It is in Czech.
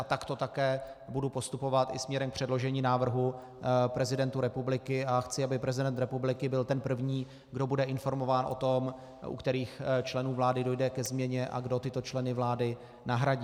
A takto také budu postupovat i směrem k předložení návrhu prezidentu republiky a chci, aby prezident republiky byl ten první, kdo bude informován o tom, u kterých členů vlády dojde ke změně a kdo tyto členy vlády nahradí.